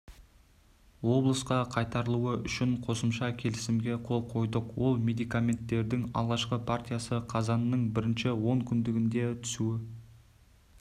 облысқа қайтарылуы үшін қосымша келісімге қол қойдық ол медикаменттердің алғашқы партиясы қазанның бірінші онкүндігінде түсуі